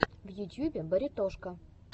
в ютьюбе баритошка